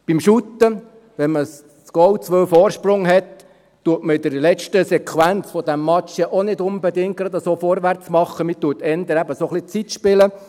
Beim Fussballspiel, wenn man ein Goal oder zwei Vorsprung hat, macht man in der letzten Sequenz dieses Matches ja auch nicht unbedingt gerade vorwärts, man spielt eher eben ein wenig auf Zeit.